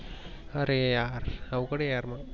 अरे यार अवघड हय यार मग.